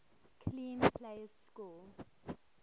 clean plays score